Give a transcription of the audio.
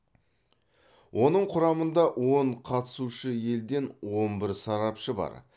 оның құрамында он қатысушы елден он бір сарапшы бар